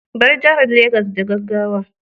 Bar jihar Legas da gaggawa